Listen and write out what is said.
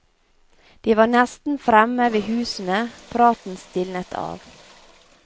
De var nesten fremme ved husene, praten stilnet av.